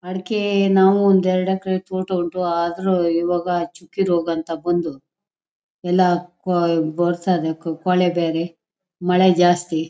ಅಡಿಕೆ ನಾವು ಒಂದ್ ಎರಡು ಎಕ್ಕರೆ ತೋಟ ಉಂಟು ಆದ್ರೂ ಇವಾಗ ಚುಕ್ಕಿ ರೋಗ ಅಂತ ಬಂದು ಎಲ್ಲ ಕೊಳೆ ಬೇರೆ ಮಳೆ ಜಾಸ್ತಿ.